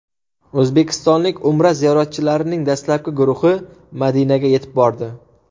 O‘zbekistonlik Umra ziyoratchilarining dastlabki guruhi Madinaga yetib bordi.